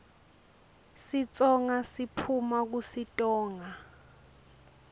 sitsonga siphuuma kusitonga